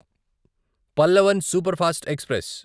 Pallavan superfast express